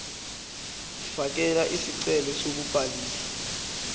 fakela isicelo sokubhaliswa